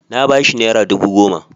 Na ba shi nera dubu goma.